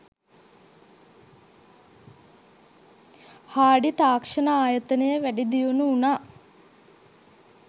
Hardy තාක්ෂණ ආයතනය වැඩි දියුණු වුණා.